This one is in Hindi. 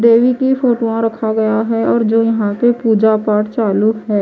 देवी की फोटवां रखा गया हैं और जो यहां पे पूजा पाठ चालू हैं।